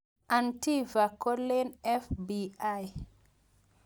Antifa, koleen FBI.